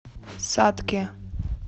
сатке